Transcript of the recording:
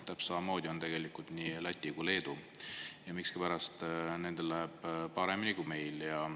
Täpselt samamoodi on tegelikult nii Lätis kui ka Leedus, aga miskipärast nendel läheb paremini kui meil.